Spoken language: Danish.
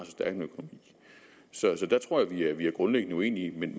så så der tror jeg at vi er grundlæggende uenige men